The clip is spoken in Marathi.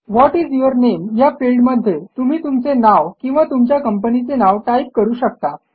व्हॉट इस यूर नामे या फिल्डमध्ये तुम्ही तुमचे नाव किंवा तुमच्या कंपनीचे नाव टाईप करू शकता